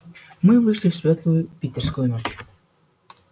мы вышли в светлую питерскую ночь